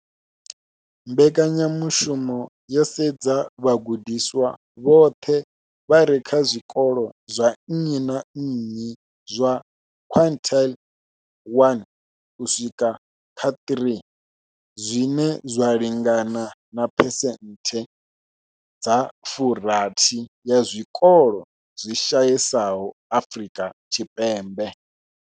Mbekanyamushumo yo sedza vhagudiswa vhoṱhe vha re kha zwikolo zwa nnyi na nnyi zwa quintile 1-3, zwine zwa lingana na phesenthe dza 60 ya zwikolo zwi shayesaho Afrika Tshipembe.